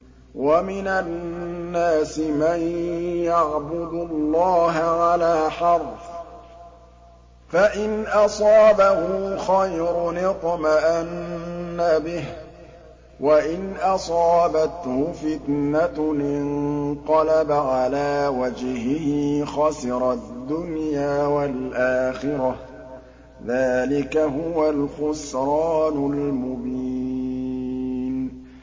وَمِنَ النَّاسِ مَن يَعْبُدُ اللَّهَ عَلَىٰ حَرْفٍ ۖ فَإِنْ أَصَابَهُ خَيْرٌ اطْمَأَنَّ بِهِ ۖ وَإِنْ أَصَابَتْهُ فِتْنَةٌ انقَلَبَ عَلَىٰ وَجْهِهِ خَسِرَ الدُّنْيَا وَالْآخِرَةَ ۚ ذَٰلِكَ هُوَ الْخُسْرَانُ الْمُبِينُ